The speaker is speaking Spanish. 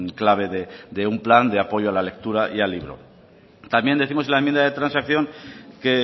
clave de un plan de apoyo a la lectura y al libro también décimos en la enmienda de transacción que